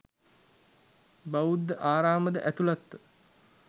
බෞද්ධ ආරාමද ඇතුළත්ව